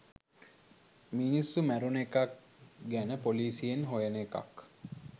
මිනිස්සු මැරුණ එකක් ගැන පොලිසියෙන් හොයන එකක්